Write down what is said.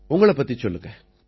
உங்களைப் பத்திச் சொல்லுங்க